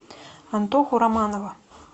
антоху романова